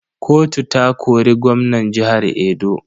Kotu ta kori gwamnan jihar Edo.